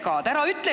Küsimus, palun!